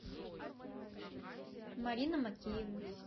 марина макеева